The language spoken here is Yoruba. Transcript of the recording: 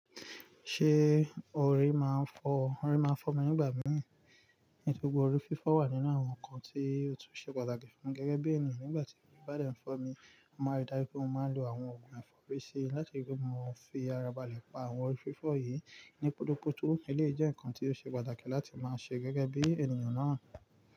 Ṣé orí máa ń fọ́? Orí máa ń fọ́ mi nígbà mìíràn, nítorí pé orí fífọ́ wà nínú àwọn nǹkan tí òtítọ́ ṣe pàtàkì fún gẹ́gẹ́ bí ènìyàn. Nígbà tí orí bá dẹ̀ fọ́ mi, a máa rí dájú pé mo máa ń lo àwọn òògùn ẹ̀fọ́rí sí i láti fi ara ba lẹ̀ pa àwọn orí fífọ́ yìí ní pótọ́pótó́. Eléyi jẹ́ nǹkan tí ó ṣe pàtàkì láti máa ṣe gẹ́gẹ́ bí ènìyàn náà.